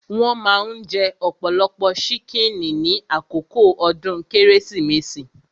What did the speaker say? Wón maa ń jẹ ọ̀pọ̀lọpọ̀ ṣíkìnnì ní àkókò ọdún Kérésìmesì